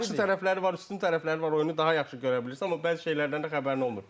Yaxşı tərəfləri var, üstün tərəfləri var, oyunu daha yaxşı görə bilirsən, amma bəzi şeylərdən də xəbərin olmur.